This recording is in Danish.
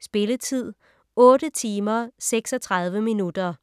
Spilletid: 8 timer, 36 minutter.